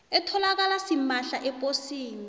etholakala simahla eposini